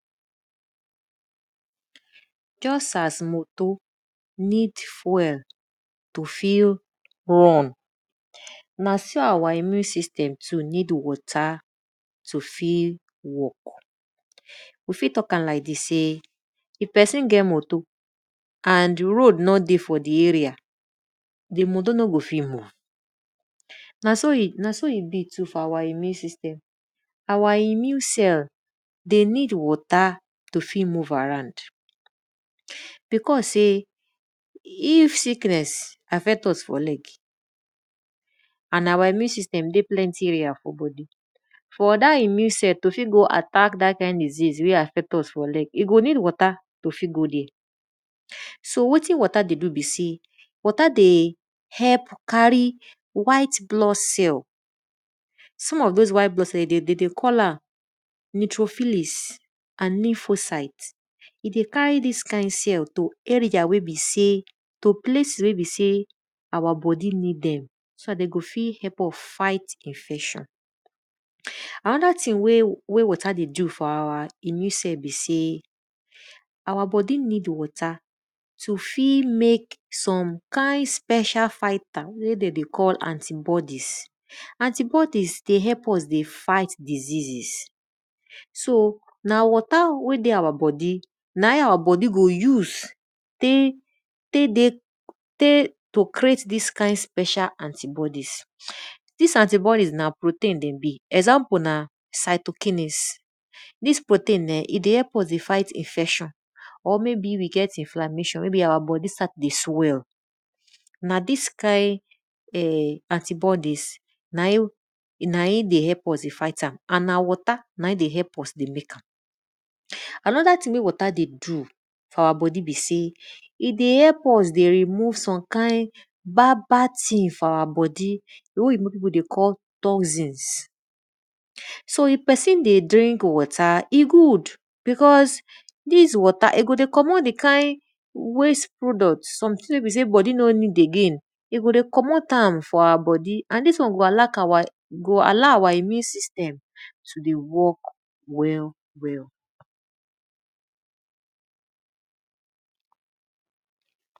Just as motor ned fuel to tek run, na so our immune system need water too fit work. We fit tok am like dis sey if pesin get motor and road no dey for di area, di pesin no go ft move. Na so e be for our immune system too. Our immune system de need water to tek move around and because sey if sickness affect us for leg and na our immune system dey plnty area for bodi, for dat immune self to fit attack dat kind sickness wey affect us, e go need water to tek go there so wetin watr dey do be sey, water dey help carry white blood cell, some of those white blood cell de dey call am nitrophilis and niphocite. E dey carry dis cell to area wey be sey to plece wey be sey our bodi need dem so dat de go fit help us fight infection. Anoda thing wey water dey do for our immu system be sey our bodi need water to tek mek some kind special fiber wey de dey call anti-bodies. Anti-bodies, dey help us dey fight diseases so na water wey dey our bodi na in our bodi go use tek dey tek to creat dis kind special anti-bodies. Dis anti-bodies na protein dem be example na cytokinis. Dis protein eh e dey help us dey fight infection or maybe we get inflammation maybe our bodi start to dey swell, na dis kind[um]anti-bodies na in na in dey help us dey fight am and na water na in dey help us dey mek am. Anoda thing wey water dey do for our bodi be sey e dey help us dey remove some kind badbad thing for our bodi di won wey oyinbo pipu dey call toxins. So if pesin dey drink water, e good because dis water go dey commot di kind waste product di thing wey be sey di bodi no need again and dis won go allow our immune system to dey work well well.